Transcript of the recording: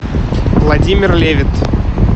владимир левит